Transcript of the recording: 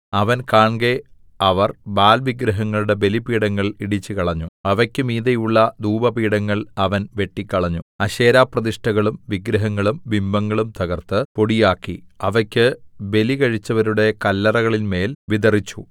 അവൻ കാൺകെ അവർ ബാല്‍ വിഗ്രഹങ്ങളുടെ ബലിപീഠങ്ങൾ ഇടിച്ചുകളഞ്ഞു അവയ്ക്ക് മീതെയുള്ള ധൂപപീഠങ്ങൾ അവൻ വെട്ടിക്കളഞ്ഞു അശേരാപ്രതിഷ്ഠകളും വിഗ്രഹങ്ങളും ബിംബങ്ങളും തകർത്ത് പൊടിയാക്കി അവയ്ക്ക് ബലികഴിച്ചവരുടെ കല്ലറകളിന്മേൽ വിതറിച്ചു